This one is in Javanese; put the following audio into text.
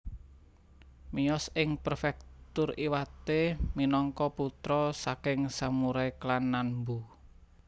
Miyos ing Prefektur Iwate minangka putra saking samurai klan Nanbu